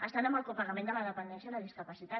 estan amb el copagament de la dependència i la discapacitat